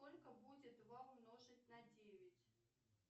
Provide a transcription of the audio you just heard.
сколько будет два умножить на девять